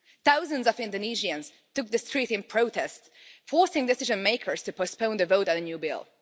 Thousands of Indonesians took to the streets in protest, forcing decision makers to postpone the vote on the new bill.